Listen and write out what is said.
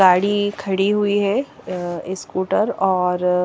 गाड़ी खड़ी हुई है अ स्कूटर और --